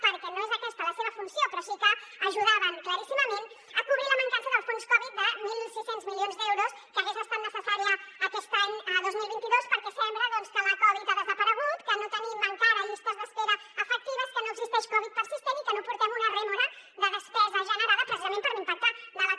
perquè no és aquesta la seva funció però sí que ajudaven claríssimament a cobrir la mancança del fons covid de mil sis cents milions d’euros que hagués estat necessària aquest any dos mil vint dos perquè sembla doncs que la covid ha desaparegut que no tenim encara llistes d’espera efectives que no existeix covid persistent i que no portem una rèmora de despesa generada precisament per l’impacte de la covid